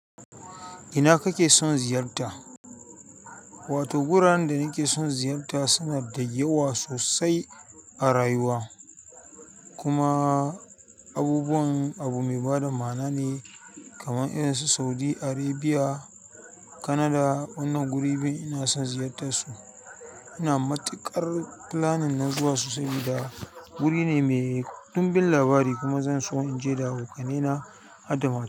Ina kake son ziyarta? Wato, wuraren da na ke son ziyarta suna da yawa sosai a rayuwa. Kuma abubuwan abu mai bada ma'ana ne kaman irin su Saudi Arabia, Canada. Wannan guri biyu ina son ziyartar su. Ina matuƙar planning na zuwan su saboda wuri ne mai dunbin labari kuma zan so in je da abokaina har da ma.